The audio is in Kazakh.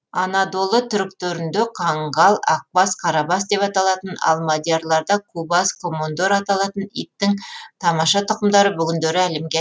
анадолы түріктерінде қаңғал ақбас қарабас деп аталатын ал мадьярларда кубас комондор аталатын иттің тамаша тұқымдары бүгіндері әлемге